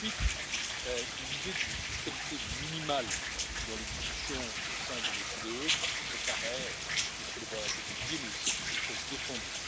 Ensuite, l'idée d'une fiscalité minimale dans les discussions au sein de l'OCDE me paraît, bien sûr, devoir être étudiée mais aussi être défendue.